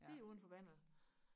lige udenfor vandet